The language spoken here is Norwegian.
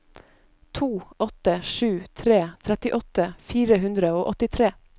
to åtte sju tre trettiåtte fire hundre og åttitre